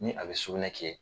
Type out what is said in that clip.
Ni a bɛ sugunɛ kɛ